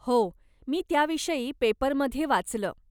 हो, मी त्याविषयी पेपरमध्ये वाचलं.